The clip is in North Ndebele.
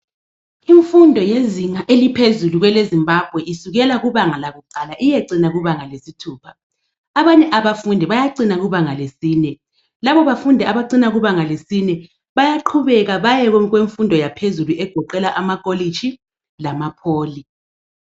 Imfundo yezinga eliphezulu kwele Zimbabwe isukela kubanga lakuqala iyecina kubanga lesithupha. Abanye abafundi bayacina kubanga lesine, labo bafundi abacina kubanga lesine bayaqhubeka baye kumfundo yaphezulu egoqela amakolitshi lama pholi.